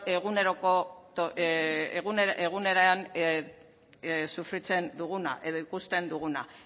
sufritzen duguna edo ikusten duguna